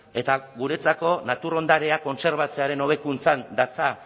eta guretzako natur ondarea kontserbatzearen hobekuntzan datza